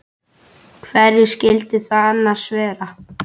Hverjir skyldu það annars vera?